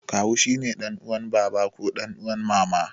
Kawu shine ɗan uwan baba ko ɗan uwan mama.